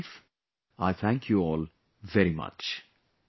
With this belief, I thank you all very much